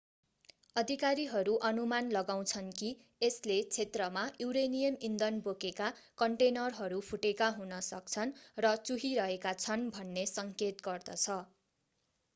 अधिकारीहरू अनुमान लगाउँछन् कि यसले क्षेत्रमा यूरेनियम ईन्धन बोकेका कन्टेनरहरू फुटेका हुन सक्छन् र चुहिरहेका छन् भन्ने सङ्केत गर्दछ